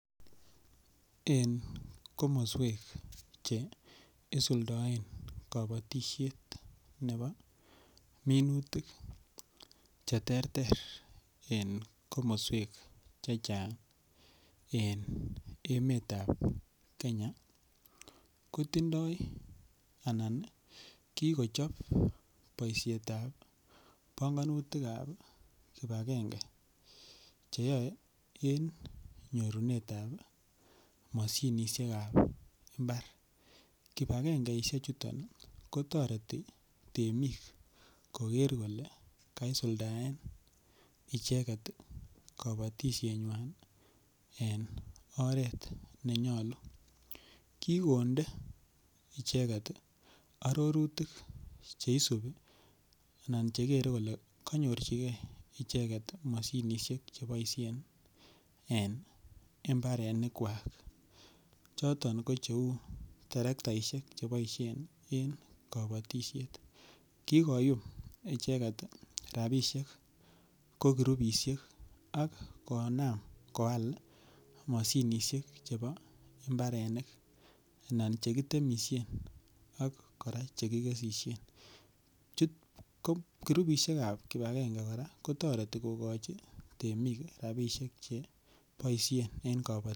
En komoswek che isuldaen kabatishet nebo minutik cheterter en komoswek chechang' en emetab kenya kotindoi anan kikochop boishetab bongonutikab kipagenge cheyoei en nyorunetab mashinishekab imbar kipagengeishe chuton kotoreti temik koker kole kisuldaen icheket kabatishenywai en oret nenyolu kikonde icheget arorutik cheisibi anan chegerei kole kanyorchigei mashinishek cheboishen en mbarenik kwak choto ko cheu terektaishek cheboishen en kabotishet kikoyum icheget rapishek ko kurupishek ak konaam koal mashinishek chebo mbarenik anan chekitemishen ak kora chekikeshishen kurupishek chebo kipagenge kora kotoreti kokochi temik rapishek cheboishe en kabotishet